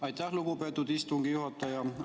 Aitäh, lugupeetud istungi juhataja!